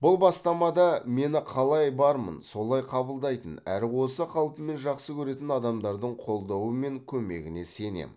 бұл бастамамда мені қалай бармын солай қабылдайтын әрі осы қалпыммен жақсы көретін адамдардың қолдауы мен көмегіне сенем